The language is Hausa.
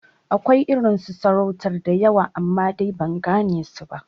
Akwai irin su sarautar da yawa amma, dai ban gane su ba